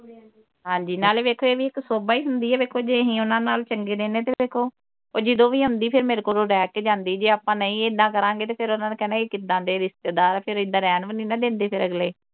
ਹਾਂਜੀ ਨਾਲੇ ਵੇਖੋ ਇਹ ਵੀ ਇਕ ਸੋਭਾ ਹੀ ਹੁੰਦੀ ਵੇਖੋ ਜੇ ਅਹੀ ਉਨ੍ਹਾਂ ਨਾਲ ਚੰਗੇ ਰਹਿੰਦੇ ਤੇ ਵੇਖੋ ਉਹ ਜਦੋਂ ਵੀ ਆਉਂਦੀ ਫਿਰ ਮੇਰੇ ਕੋਲ ਰਹਿ ਕੇ ਜਾਂਦੀ ਜੇ ਆਪਾ ਨਹੀਂ ਇੱਦਾਂ ਕਰਾਂਗੇ ਤੇ ਫਿਰ ਉਨ੍ਹਾਂ ਨੇ ਕਹਿਣਾ ਇਹ ਕਿੱਦਾਂ ਦੇ ਰਿਸ਼ਤੇਦਾਰ ਫਿਰ ਇੱਦਾਂ ਰਹਿਣ ਵੀ ਨਹੀਂ ਨਾ ਦਿੰਦੇ ਫਿਰ ਅਗਲੇ